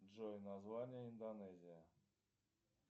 джой название индонезия